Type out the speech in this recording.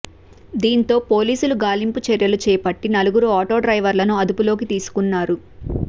దీంతో పోలీసులు గాలింపు చర్యలు చేపట్టి నలుగురు ఆటో డ్రైవర్లను అదుపులోకి తీసుకున్నారు